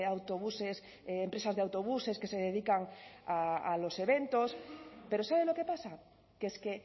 autobuses empresas de autobuses que se dedican a los eventos pero sabe lo que pasa que es que